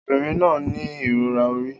Obìnrin náà ní ìrora orí